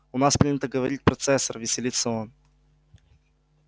у нас принято говорить процессор веселится он